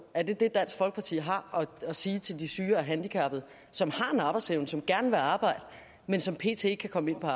er det det dansk folkeparti har at sige til de syge og handicappede som har en arbejdsevne og som gerne vil arbejde men som pt ikke kan komme ind på